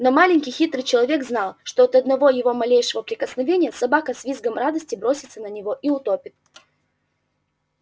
но маленький хитрый человек знал что от одного его малейшего прикосновения собака с визгом радости бросится на него и утопит